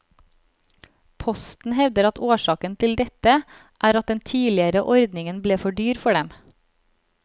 Posten hevder at årsaken til dette er at den tidligere ordningen ble for dyr for dem.